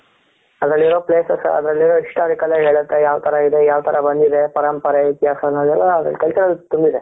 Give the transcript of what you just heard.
ಅದ್ರಲ್ಲಿರೋ places ಅದ್ರಲ್ಲಿರೋ historic ಹೇಳುತ್ತೆ ಯಾವ್ ತರ ಇದೆ ಯಾವತರ ಬಂದಿದೆ ಪರಂಪರೆ ಇತಿಹಾಸ ಎಲ್ಲಾ cultural ತುಂಬಿದೆ.